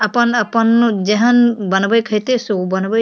अपन-अपन जेहन बनबे के हेते से ऊ बनबे --